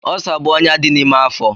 Ọlsa bụ ọnyá dị n'ime afọ.